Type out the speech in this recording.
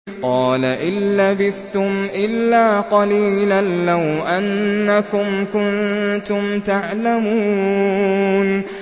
قَالَ إِن لَّبِثْتُمْ إِلَّا قَلِيلًا ۖ لَّوْ أَنَّكُمْ كُنتُمْ تَعْلَمُونَ